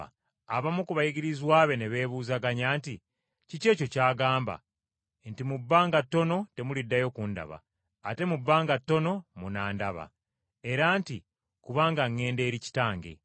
Abamu ku bayigirizwa be ne beebuzaganya nti, “Kiki ekyo ky’agamba nti, ‘Mu bbanga ttono temuliddayo kundaba, ate mu bbanga ttono munandaba,’ era nti, ‘Kubanga ŋŋenda eri Kitange?’ ”